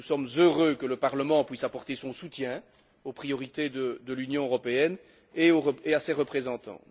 Nous sommes heureux que le Parlement puisse apporter son soutien aux priorités de l'Union européenne et à ses représentants.